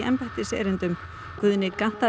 Guðni gantaðist með þetta þegar hann stökk